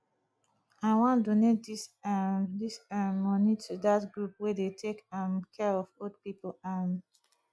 i wan donate dis um dis um money to dat group wey dey take um care of old people um